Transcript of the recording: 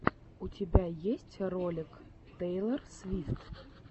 у тебя есть ролик тейлор свифт